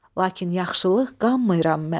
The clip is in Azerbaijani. Lakin yaxşılıq qanmayıram mən.